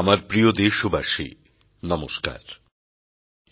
আমার প্রিয় দেশবাসী নমস্কার